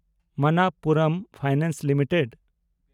Manappuram finance limited